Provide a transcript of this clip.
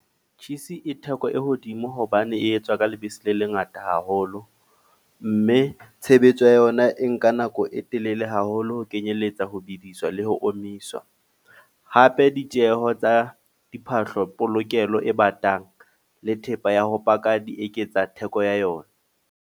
Cheese e theko e hodimo hobane e etswa ka lebese le lengata haholo. Mme tshebetso ya yona e nka nako e telele haholo ho kenyelletsa ho bidiswa le ho omisa. Hape ditjeho tsa diphahlo polokelo e batang, le thepa ya ho paka di eketsa theko ya yona.